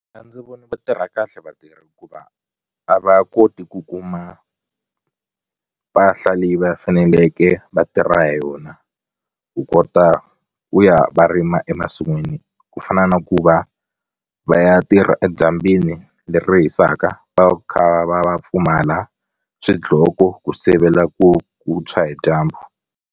A ndzi voni va tirha kahle vatirhi hikuva a va koti ku kuma mpahla leyi va faneleke va tirha hi yona ku kota ku ya va rima emasin'wini ku fana na ku va va ya tirha edyambini leri hisaka va kha va va pfumala swidloko ku sivela ku ku tshwa hi dyambu.